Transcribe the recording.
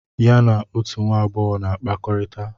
Ya na otù nwa agbọghọ na-akpakọrịta.